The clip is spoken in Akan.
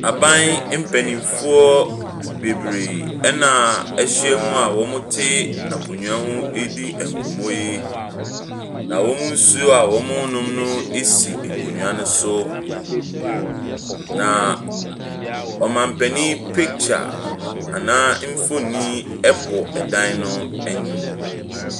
Aban mpayinfoɔ bebree ɛna ɛhyia mu a wɔte akonnwa hɔ ɛredi nkɔmmɔ yi. Na wɔn nsuo a wɔrenom no esi nkonnwa no so. Na oman panyin picture anaa nfonni ɛbɔ ɛdan n'anim.